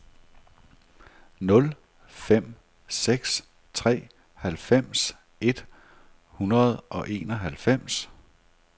nul fem seks tre halvfems et hundrede og enoghalvfems